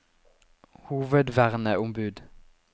hovedverneombud